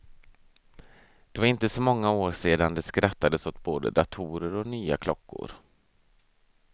Det var inte så många år sedan det skrattades åt både datorer och nya klockor.